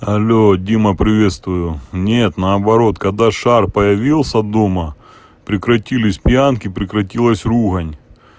алло дима приветствую нет наоборот когда шар появился дома прекратились пьянки прекратилось ругань